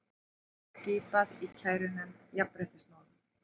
Skipað í kærunefnd jafnréttismála